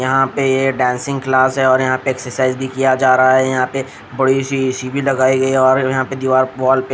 यहाँ पे ये डांसिंग क्लास है और यहाँ पे एक्सरसाइज भी किया जा रहा है यहाँ पे बड़ी सी ईसी भी लगाई गई है और यहाँ पे दीवार वाल पे--